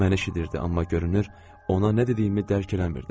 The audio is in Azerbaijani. Mən eşidirdi, amma görünür, ona nə dediyimi dərk eləmirdi.